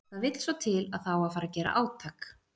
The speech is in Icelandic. Það vill svo til að það á að fara að gera átak.